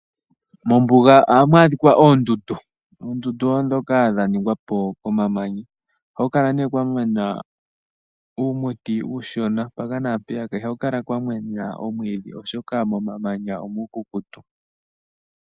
Mombuga oha mu adhikwa oondundu dhoka dha ningwa po komamanya. Koondundu oha ku kala kwa mena uumuti uushona, mpaka naampeya ko iha ku kala kwamena omwiidhi oshoka momamanya omuukukutu.